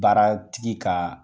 Baaratigi ka